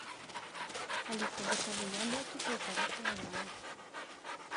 алиса закажи яблоки полтора килограмма